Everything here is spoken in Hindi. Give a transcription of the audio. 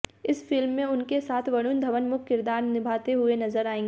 इस फिल्म में उनके साथ वरुण धवन मुख्य किरदार निभाते हुए नजर आएंगे